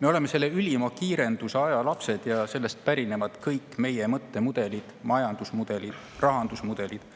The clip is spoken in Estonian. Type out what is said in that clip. Me oleme selle ülima kiirenduse aja lapsed ja sellest pärinevad kõik meie mõttemudelid, majandusmudelid, rahandusmudelid,